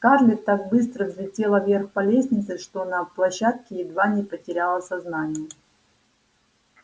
скарлетт так быстро взлетела вверх по лестнице что на площадке едва не потеряла сознание